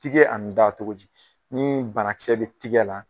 Tigɛ ani da cogodi, ni bana kisɛ be tigɛ la